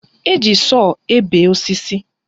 Eji sọọ ebe osisi